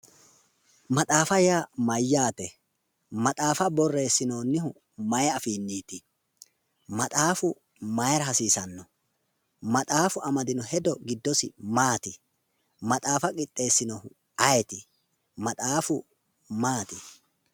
maxaafa yaa mayyaate? maxaafa borreessinoonnihu mayi afiinniiti? maxaafu mayiira hasiisanno? maxaafu amdino hedo giddosi maati? maxaafa qixxeessinou ayeeti? maxaafu maati?